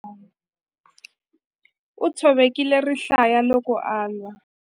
U tshovekile rihlaya loko a lwa.